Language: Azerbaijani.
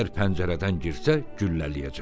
Əgər pəncərədən girsə, güllələyəcəm.